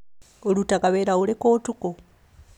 ũrutaga wĩra ũrikũ ũtukũ